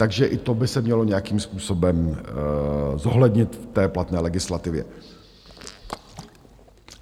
Takže i to by se mělo nějakým způsobem zohlednit v té platné legislativě.